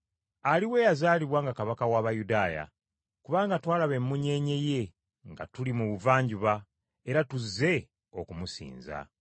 “Aliwa eyazaalibwa nga Kabaka w’Abayudaaya? Kubanga twalaba emmunyeenye ye nga tuli mu buvanjuba, era tuzze okumusinza.”